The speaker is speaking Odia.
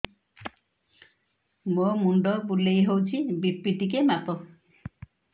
ମୋ ମୁଣ୍ଡ ବୁଲେଇ ହଉଚି ବି.ପି ଟିକେ ମାପ